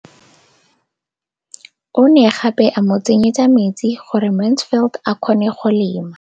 O ne gape a mo tsenyetsa metsi gore Mansfield a kgone go lema.